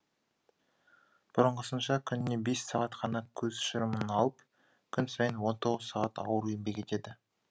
бұрынғысынша күніне бес сағат қана көз шырымын алып күн сайын он тоғыз сағат ауыр еңбек етеді